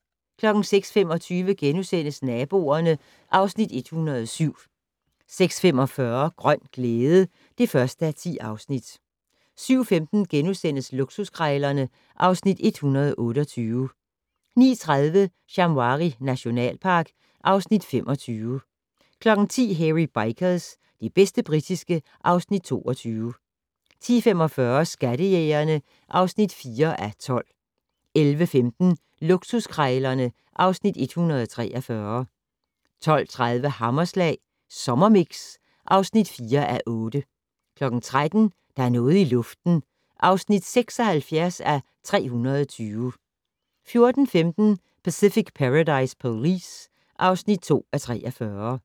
06:25: Naboerne (Afs. 107)* 06:45: Grøn glæde (1:10) 07:15: Luksuskrejlerne (Afs. 128)* 09:30: Shamwari nationalpark (Afs. 25) 10:00: Hairy Bikers - det bedste britiske (Afs. 22) 10:45: Skattejægerne (4:12) 11:15: Luksuskrejlerne (Afs. 143) 12:30: Hammerslag Sommermix (4:8) 13:00: Der er noget i luften (76:320) 14:15: Pacific Paradise Police (2:43)